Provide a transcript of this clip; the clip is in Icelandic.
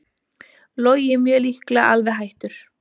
Logi mjög líklega alveg hættur